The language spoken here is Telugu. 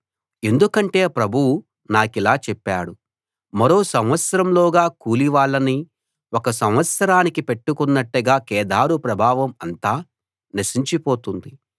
ఎందుకంటే ప్రభువు నాకిలా చెప్పాడు మరో సంవత్సరంలోగా కూలి వాళ్ళని ఒక సంవత్సరానికి పెట్టుకున్నట్టుగా కేదారు ప్రభావం అంతా నశించిపోతుంది